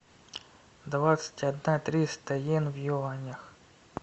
двадцать одна триста иен в юанях